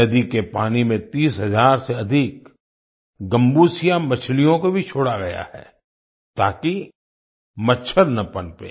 नदी के पानी में तीस हजार से अधिक गम्बूसिया मछलियों को भी छोड़ा गया है ताकि मच्छर न पनपें